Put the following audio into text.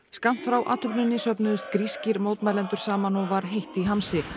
skammt frá athöfninni söfnuðust grískir mótmælendur saman og var heitt í hamsi